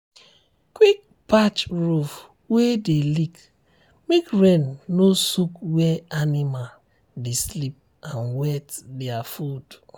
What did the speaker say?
quick patch roof wey dey leak make rain no soak where animal dey sleep and wet their food.